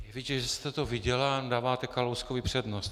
Je vidět, že jste to viděla a dáváte Kalouskovi přednost.